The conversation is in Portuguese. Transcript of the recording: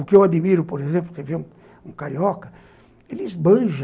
O que eu admiro, por exemplo, você vê um carioca, ele esbanja.